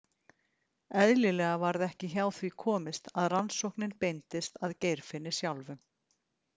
Eðlilega varð ekki hjá því komist að rannsóknin beindist að Geirfinni sjálfum.